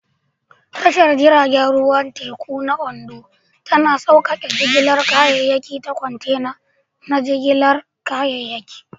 Tashar jirgin ruwan teku ta Ondo tana sauƙaƙe jigilar kayayyaki ta kwantena na jigilar kayayyaki.